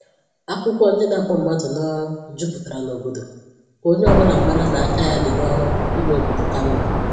Akwụkwọ ndị na-akpọ mmadụ n’ọrụ juputara n'obodo, ka onye ọbụla mara na aka ya dị n’ọrụ ime obodo ka mma